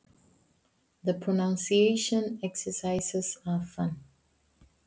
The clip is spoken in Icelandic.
Framburðaræfingarnar eru skemmtilegar.